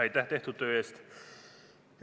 Aitäh tehtud töö eest!